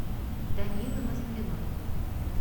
данилы москвиной